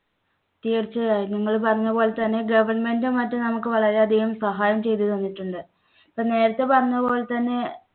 തീർച്ചയായും നിങ്ങൾ പറഞ്ഞ പോലെ തന്നെ government ഉം മറ്റും നമുക്ക് വളരെയധികം സഹായം ചെയ്തു തന്നിട്ടുണ്ട്. ഇപ്പം നേരത്തെ പറഞ്ഞ പോലെ തന്നെ